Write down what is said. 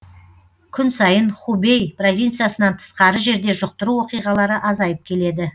күн сайын хубэй провинциясынан тысқары жерде жұқтыру оқиғалары азайып келеді